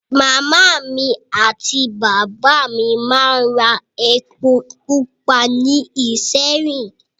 Màmá mi àti bàbá mi máa ń ra epo pupa ní ìṣéyìn